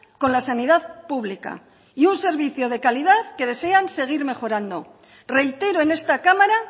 con la sanidad pública y un servicio de calidad que desean seguir realizando reitero en esta cámara